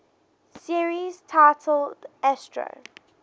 series titled astro